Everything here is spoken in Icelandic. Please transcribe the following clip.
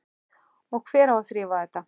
Og hver á að þrífa þetta?